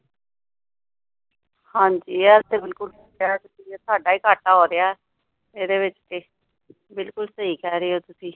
ਹਾਂ ਜੀ ਇਹ ਤੇ ਬਿੱਲਕੁੱਲ ਸਹੀ ਕਿਹਾ ਤੁਸੀ ਸਾਡਾ ਹੀ ਘਾਟਾ ਹੋ ਰਿਹਾ ਇਹਦੇ ਵਿੱਚ ਤੇ ਬਿਲਕੁੱਲ ਸਹੀ ਕਹਿ ਰਹੇ ਹੋ ਤੁਸੀ